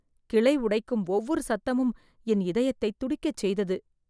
கிளை உடைக்கும் ஒவ்வொரு சத்தமும் என் இதயத்தைத் துடிக்கச் செய்தது.